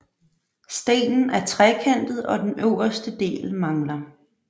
Stenen er trekantet og den øverste del mangler